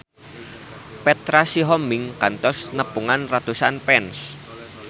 Petra Sihombing kantos nepungan ratusan fans